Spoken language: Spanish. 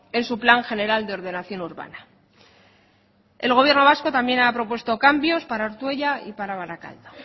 en su plan general de ordenación urbana el gobierno vasco también ha propuesto cambios para ortuella y para barakaldo